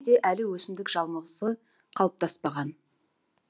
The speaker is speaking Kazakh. де әлі өсімдік жамылғысы қалыптаспаған